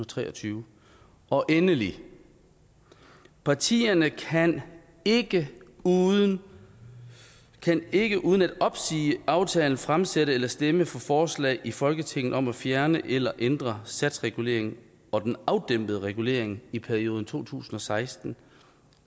tre og tyve og endelig partierne kan ikke uden ikke uden at opsige aftalen fremsætte eller stemme for forslag i folketinget om at fjerne eller ændre satsreguleringen og den afdæmpede regulering i perioden to tusind og seksten